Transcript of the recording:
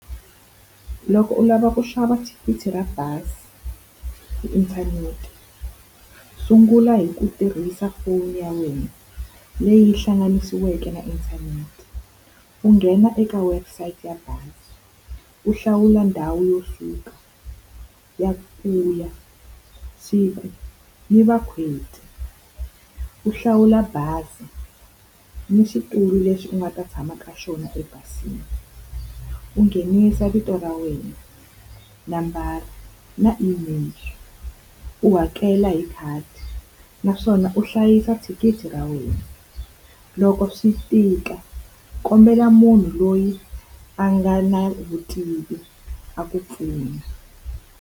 Loko u lava ku xava thikithi ra bazi hi inthanete, sungula hi ku tirhisa foni ya wena leyi hlanganisiweke na inthanete. U nghena eka website ya bazi, u hlawula ndhawu yo suka, ya ku ya, siku, ni . U hlawula bazi ni xitulu lexi u nga ta tshama ka xona ebazini. U nghenisa vito ra wena, u nambara, na email, u hakela hi khadi, naswona u hlayisa thikithi ra wena. Loko swi tika kombela munhu loyi a nga na vutivi a ku pfuna.